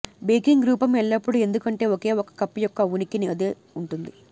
baking రూపం ఎల్లప్పుడూ ఎందుకంటే ఒకే ఒక కప్ యొక్క ఉనికిని అదే ఉంటుంది